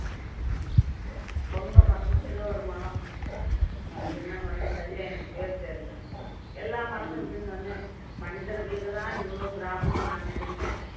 பொங்க மரமா ஏதோ ஒரு மரம் அது என்ன மரம்ன்னு சரியா எனக்கு பேர் தெரியலே எல்லா மரமும் இப்படி இருந்த உடனே மனிதர்களுக்குதான் இவ்வளவு problem ன்னு நான் நினைச்சேன்